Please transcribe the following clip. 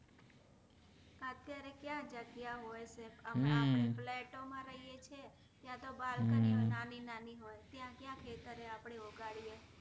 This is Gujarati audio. અત્યારે ક્યાં જગ્યા હોય છે આપણે તો flat ઓ માં રહીયે છે ત્યાંતો balcony ઓ નાની નાની હોય ત્યાં ક્યાં ખેતરે ઉગાડીયે